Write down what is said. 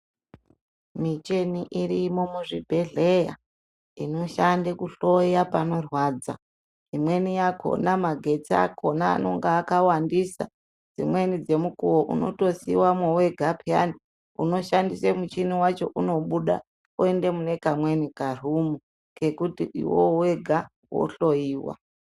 Michini irimo muzvibedhleya inoshanda kuhloya panorwadza, imweni yakona magetsi akona anenge akawandisa, dzimweni dzemukuo unotosiyiwamwo wega piyana, unoshandisa muchini wacho unobuda oenda mune kamweni karumu kekuti iwewe wega wohloyiwa.